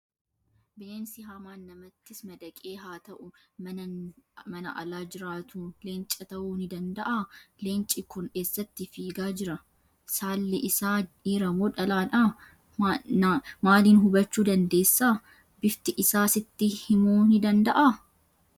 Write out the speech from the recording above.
Bineensi hamaan namattis madaqee haa ta'u, mana ala jiraatu leenca ta'uu ni danda'aa? Leenci kun eessatti fiigaa jira? Saalli isaa dhiira moo dhalaadha? Naaliin hubachuu dandeessa? Bifti isaa sitti himuu ni danda'aa?